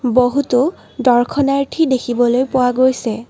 বহুতো দৰ্শনাৰ্থী দেখিবলৈ পোৱা গৈছে।